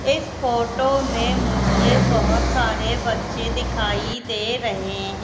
इस फोटो में मुझे बहुत सारे बच्चे दिखाई दे रहे हैं।